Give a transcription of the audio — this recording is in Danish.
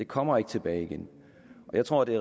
kommer ikke tilbage igen jeg tror det